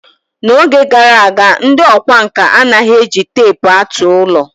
N'oge gara aga, ndị ọkwá nkà anaghị eji teepu atụ ụlọ.